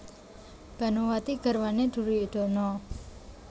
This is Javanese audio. Banowati garwané Duryudana